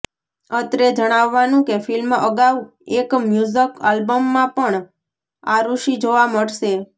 અત્રે જણાવવાનું કે ફિલ્મ અગાઉ એક મ્યૂઝક આલ્બમમાં પણ આરુષિ જોવા મળશે